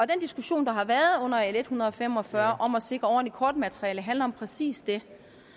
diskussion der har været under l en hundrede og fem og fyrre om at sikre ordentligt kortmateriale handler om præcis det